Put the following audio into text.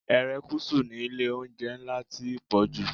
Erékùṣù ni ilé-oúnjẹ ńlá ti pọ̀jù.